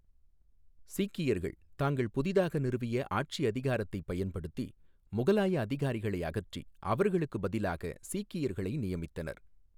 சீக்கியர்கள் தாங்கள் புதிதாக நிறுவிய ஆட்சியதிகாரத்தைப் பயன்படுத்தி முகலாய அதிகாரிகளை அகற்றி அவர்களுக்குப் பதிலாக சீக்கியர்களை நியமித்தனர்.